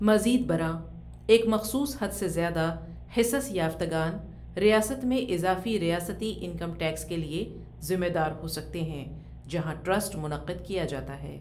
مزید برآں، ایک مخصوص حد سے زیادہ حصص یافتگان ریاست میں اضافی ریاستی انکم ٹیکس کے لیے ذمہ دار ہو سکتے ہیں جہاں ٹرسٹ منعقد کیا جاتا ہے۔